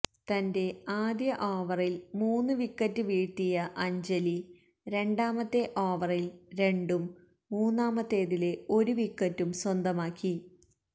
തന്റെ ആദ്യ ഓവറില് മൂന്ന് വിക്കറ്റ് വീഴ്ത്തിയ അഞ്ജലി രണ്ടാമത്തെ ഓവറില് രണ്ടും മൂന്നാമത്തേതില് ഒരു വിക്കറ്റും സ്വന്തമാക്കി